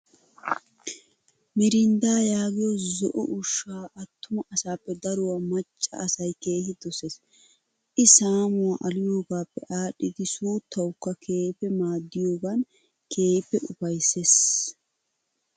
Mirinddaa yaagiyo zo"o ushshaa attuma asaappe daruwaa macca asayi keehi doses. I saamuwaa aliyogappe aadhidi suuttawukka keehippe maaddiyogan keehippe ufayisses.